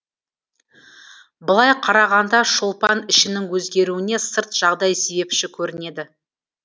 былай қарағанда шолпан ішінің өзгеруіне сырт жағдай себепші көрінеді